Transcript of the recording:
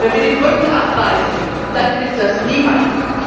Wenn wir die Brücken abreißen, hilft das niemandem.